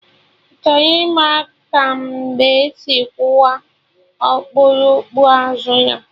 Ị chọrọ ịma ka mbe si kụwa okpurukpu azụ ya?